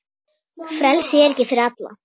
Frelsi er ekki fyrir alla.